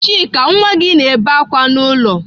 Chika nwa gi na-ebe akwa n'ulo.